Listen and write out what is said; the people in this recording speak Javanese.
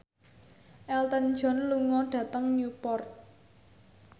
Elton John lunga dhateng Newport